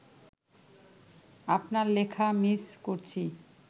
আপনার লেখা মিস করছি